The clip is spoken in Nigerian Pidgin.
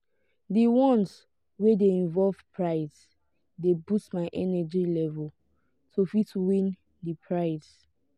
di ones wey de involve price de boost my energy level to fit win di price